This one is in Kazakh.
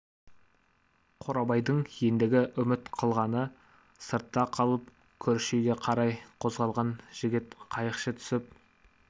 қорабайдың ендігі үміт қылғаны сыртта қалып көрші үйге қарай қозғалған жігіт қайықшы түсіп